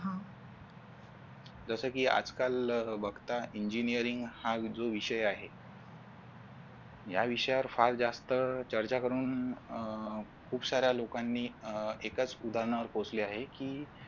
जस की आज-काल बघता engineering हा जो विषय आहे या विषयावर फार जास्त चर्चा करून अह खूप सार्‍या लोकांनी एकाच उदाहरणावर पोचले आहे की